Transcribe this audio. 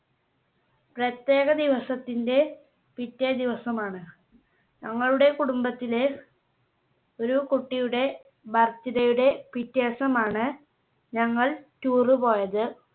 പ്രത്യേക ദിവസത്തിന്റെ പിറ്റേ ദിവസമാണ്. ഞങ്ങളുടെ കുടുംബത്തിലെ ഒരു കുട്ടിയുടെ Birthday യുടെ പിറ്റേ ദിവസമാണ് ഞങ്ങൾ Tour പോയത്.